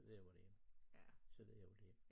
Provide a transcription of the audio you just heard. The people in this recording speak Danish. Så ved jeg hvor det er så ved jeg hvor det